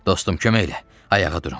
Dostum, kömək elə, ayağa durum.